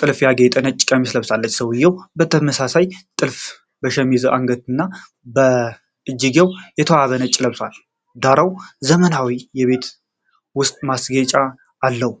ጥልፍ ያጌጠ ነጭ ቀሚስ ለብሳለች። ሰውየውም በተመሳሳይ ጥልፍ በሸሚዙ አንገትጌና በእጅጌው የተዋበ ነጭ ለብሷል፤ ዳራው ዘመናዊ የቤት ውስጥ ማስጌጫ አለው።